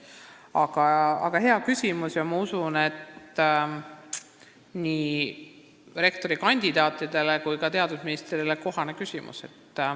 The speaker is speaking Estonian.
Aga see on hea küsimus nii rektorikandidaatidele kui ka teadusministrile.